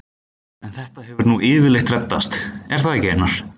En þetta hefur nú yfirleitt reddast, er það ekki Einar?